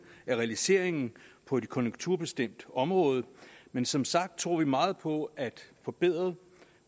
er realiseringen på et konjunkturbestemt område men som sagt tror vi meget på at forbedret